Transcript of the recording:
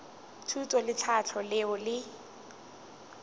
thuto le tlhahlo leo le